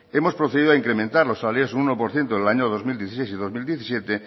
hemos procedido a incrementar los salarios un uno por ciento en el año dos mil dieciséis y dos mil diecisiete